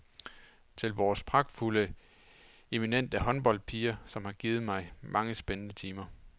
Til vores pragtfulde, eminente håndboldpiger, som har givet mig mange spændende timer.